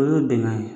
O y'o bɛnkan ye